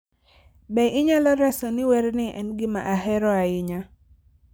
Be inyalo reso ni werni en gima ahero ahinya